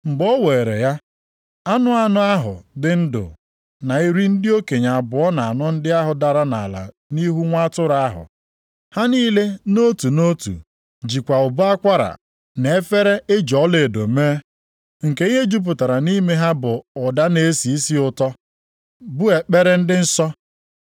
Mgbe ọ weere ya, anụ anọ ahụ dị ndụ na iri ndị okenye abụọ na anọ ndị ahụ dara nʼala nʼihu Nwa Atụrụ ahụ. Ha niile nʼotu nʼotu jikwa ụbọ akwara na efere e ji ọlaedo mee, nke ihe jupụtara nʼime ha bụ ụda na-esi isi ụtọ, bụ ekpere ndị nsọ.